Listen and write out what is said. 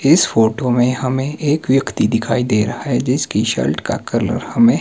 इस फोटो में हमें एक व्यक्ती दिखाई दे रहा है जिसकी शर्ट का कलर हमें--